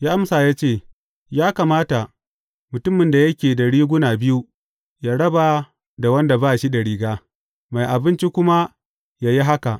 Ya amsa ya ce, Ya kamata, mutumin da yake da riguna biyu, yă raba da wanda ba shi da riga, mai abinci kuma yă yi haka.